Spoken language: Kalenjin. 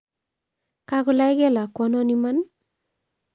kakolaike lakwanon imani